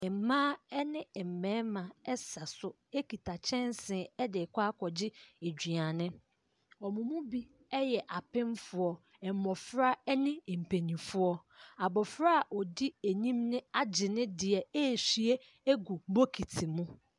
Mmaa ne mmarima sa so kita kyɛnsee de rekɔgye aduane. Wɔn mu bi yɛ apemfoɔ. Mmɔfra ne mpanimfoɔ. Abɔfra a ɔdi anim bo agy ne deɛ rewieɛ agu bokiti mu.